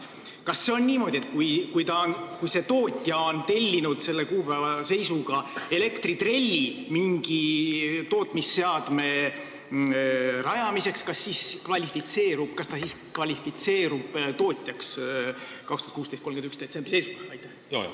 Kas see on niimoodi, et kui keegi on tellinud selle kuupäeva seisuga näiteks elektritrelli mingi tootmisseadme ülespanemiseks, siis ta kvalifitseerub 2016. aasta 31. detsembri seisuga tootjaks?